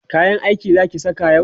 kayan aiki Zaki saka yau?